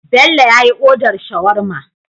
Bello yyi order shawarma